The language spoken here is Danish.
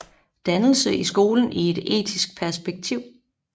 Dannelse i skolen i et etisk perspektiv